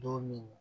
Don min